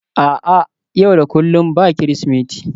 a'a, yau da kullum ba Kirsimeti